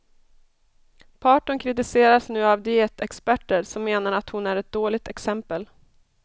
Parton kritiseras nu av dietexperter som menar att hon är ett dåligt exempel.